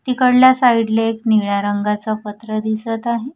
तिकडल्या साईडले एक निळा रंगाचा पत्र दिसत आहे.